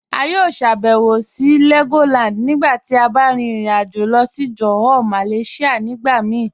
A yọ ṣàbẹ̀wò sí Legoland nígbà tí a bá rìn ìrìn-àjọ̀ lọ sí Johor Malaysia nígbà mí